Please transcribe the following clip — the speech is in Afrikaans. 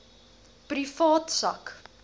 privaat sak